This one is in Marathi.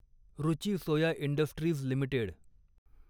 Ruchi soya industries limited